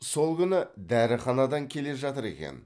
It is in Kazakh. сол күні дәріханадан келе жатыр екен